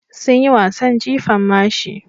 Sun yi wasan jifan mashi.